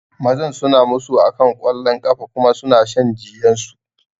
Mazan suna musu akan wasan kwallon kafa kuma suna shan jiyansu